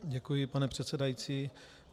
Děkuji, pane předsedající.